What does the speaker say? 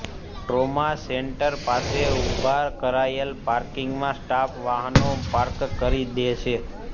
trauma centre પાસે ઊભા કરાયેલા પાર્કિંગમાં સ્ટાફ વાહનો પાર્ક કરી દે છે